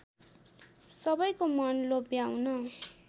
सबैको मन लोभ्याउन